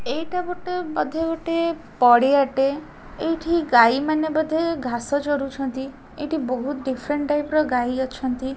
ଏଇଟା ଗୋଟେ ବୋଧେ ଗୋଟେ ପଡ଼ିଆ ଟେ ଏଇଠି ଗାଈମାନେ ବୋଧେ ଘାସ ଚରୁଛନ୍ତି ଏଠି ବହୁତ ଡିଫରେଣ୍ଟ ଟାଇପ୍ ର ଗାଈ ଅଛନ୍ତି।